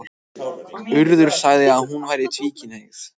Urður sagði hann svo, lágt til að henni brygði ekki.